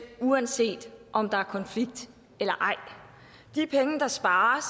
uanset om der er konflikt eller ej de penge der spares